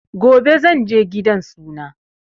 Gobe zanje gidan suna